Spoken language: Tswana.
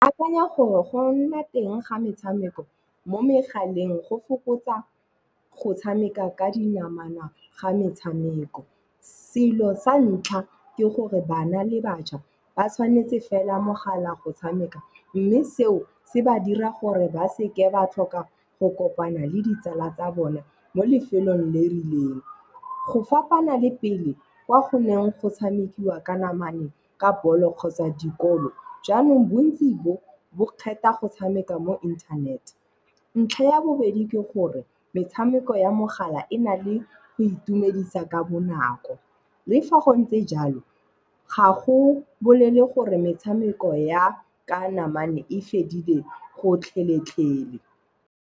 Akanya gore go nna teng ga metshameko mo megaleng go fokotsa go tshameka ka dinamane ga metshameko. Selo sa ntlha ke gore bana le bašwa ba tshwanetse fela mogala go tshameka, mme seo se ba dira gore ba se ke ba tlhoka go kopana le ditsala tsa bone mo lefelong le rileng. Go fapana le pele kwa goneng go tshamekiwa ka namane, ka bolo kgotsa dikolo, jaanong bontsi bo bo kgetha go tshameka mo internet. Ntlha ya bobedi ke gore metshameko ya mogala e na le go itumedisa ka bonako. Le fa go ntse jalo ga go bolele gore metshameko ya ka namane e fedile gotlhelele.